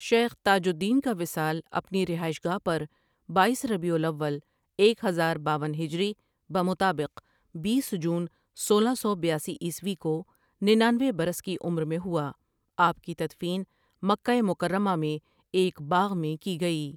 شیخ تاج الدین کا وصال اپنی رہائش گاہ پر بایس ربیع الاول ایک ہزار باون ہجری بمطابق بیس جون سولہ سو بیاسی عیسوی کو ننانوے برس کی عمر میں ہوا آپ کی تدفین مکہ مکرمہ میں ایک باغ میں کی گئی ۔